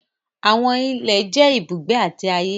Àwọn ìlẹ̀ jẹ́ ìbùgbé àti ayé.